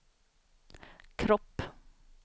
kropp